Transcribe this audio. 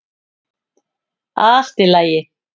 Allt í lagi.